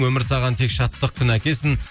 өмір саған тек шаттық күн әкелсін